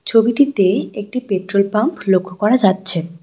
ছবিটিতে একটি petrol pump লক্ষ্য করা যাচ্ছে।